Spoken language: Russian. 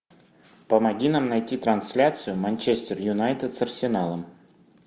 помоги нам найти трансляцию манчестер юнайтед с арсеналом